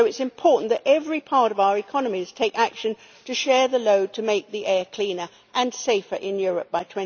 So it is important that every part of our economies take action to share the load to make the air cleaner and safer in Europe by